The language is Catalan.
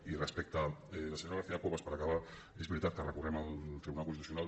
i respecte a la senyora garcia cuevas per acabar és veritat que recorrem al tribunal constitucional